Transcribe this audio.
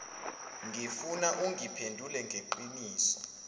ngifuna ungiphendule ngeqiniso